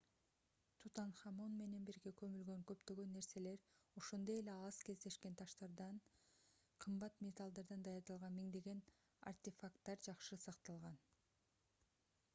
тутанхамон менен бирге көмүлгөн көптөгөн нерселер ошондой эле аз кездешкен таштардан кымбат металлдардан даярдалган миңдеген артефакттар жакшы сакталган